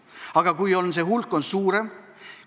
Aga kui see hulk on suurem?